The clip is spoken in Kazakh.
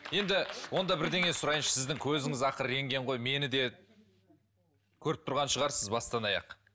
енді онда бірдеңе сұрайыншы сіздің көзіңіз ақыры рентген ғой мені де көріп тұрған шығарсыз бастан аяқ